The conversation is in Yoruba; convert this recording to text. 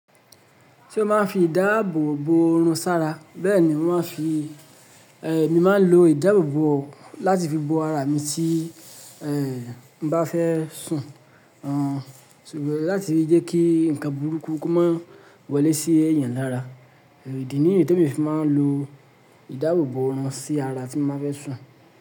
Ṣé o máa ń fi ìdáàbò bò oòrùn sára? Bẹ́ẹ̀ ni, mo máa ń fi, eh, mi máa ń lo ìdáàbò bò láti fi bò ara mi tí, eh, mo bá fẹ́ sùn, o. Sugbọ́n láti fi jẹ́ kí nǹkan burúkú kó má wọlé sí èèyàn lára, idi niyí tí emi fi máa ń lo ìdáàbò bò oòrùn sí ara tí mo bá fẹ́ sùn.